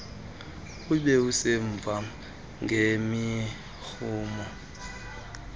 ube semva ngemirhumo